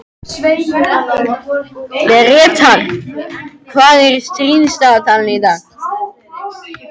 Brestir, hvað er í dagatalinu í dag?